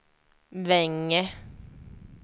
Vänge